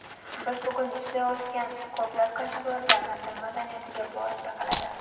Biz bugun ishlatayotgan ko‘plab kashfiyotlar Misr madaniyatiga borib taqaladi.